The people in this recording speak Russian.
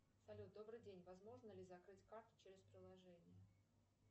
салют добрый день возможно ли закрыть карту через приложение